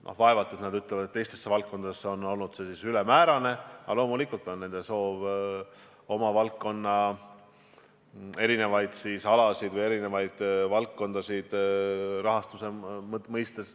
No vaevalt on see nende arvates teistesse valdkondadesse olnud siis ülemäärane, aga loomulikult on nende soov oma valdkonna alade rahastust tõsta.